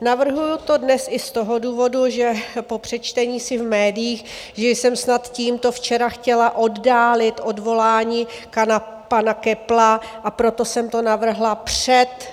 Navrhuju to dnes i z toho důvodu, že po přečtení si v médiích, že jsem snad tímto včera chtěla oddálit odvolání pana Köppla, a proto jsem to navrhla před